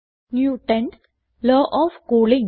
Newton's law of cooling